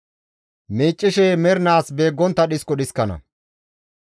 Miiccishe mernaas beeggontta dhisko dhiskana.